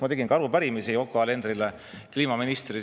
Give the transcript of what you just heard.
Ma tegin ka arupärimise Yoko Alenderile, kliimaministrile.